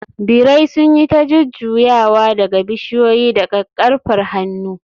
birai sun yi ta jujjuyawa daga bishiyoyi da kakkarfar hannu.